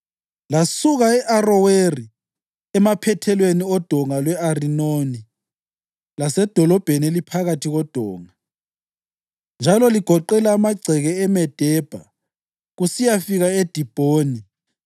Lasuka e-Aroweri emaphethelweni oDonga lwe-Arinoni lasedolobheni eliphakathi kodonga, njalo ligoqela amagceke eMedebha kusiyafika eDibhoni,